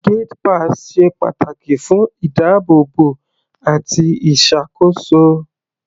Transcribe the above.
Gate pass ṣe pàtàkì fún ìdábóòbò àti ìṣàkóso.